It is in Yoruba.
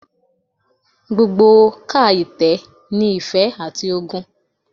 Gbogbo ká itẹ ni ife ati ogun